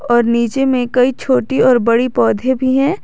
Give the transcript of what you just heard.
और नीचे में कई छोटी और बड़ी पौधे भी है।